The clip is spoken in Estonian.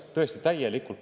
Tõesti, see puudub täielikult.